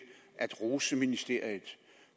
at rose ministeriet